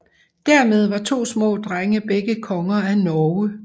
Dermed var to små drenge begge konger af Norge